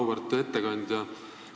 Auväärt ettekandja!